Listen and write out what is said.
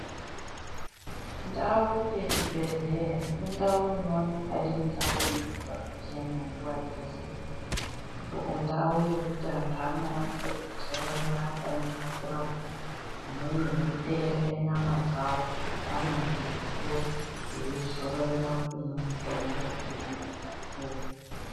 Ndau yechibhedhlera, indau inoonekwa irindau inonge yakachena nguva dzese. Indau yekuti antu anoone pekudzororera akaemera kurapwa, amweni eiteerera nyamadzavo arimumimvuri eizororera kumwe mitombo yaanenge apuwa.